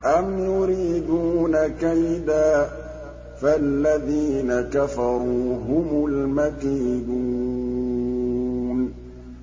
أَمْ يُرِيدُونَ كَيْدًا ۖ فَالَّذِينَ كَفَرُوا هُمُ الْمَكِيدُونَ